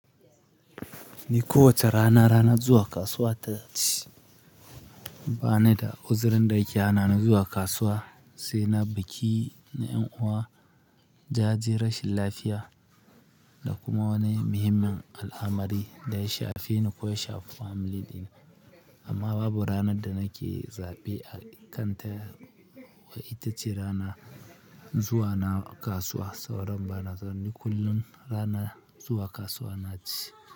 Ni kowace rana, ranar zuwa kasuwa ta ce. Ba ni da uzurin da ke hana ni zuwa kasuwa sai na biki na ƴan uwa, jaje, rashin lafiya da kuma wani muhimmin al'amari da ya shafe ni ko ya shafi family dina. Amma babu ranar da nake zaɓe a kan ta, wai ita ce ranar zuwa na kasuwa, sauran bana so ni kullum rana zuwa kasuwa na ce.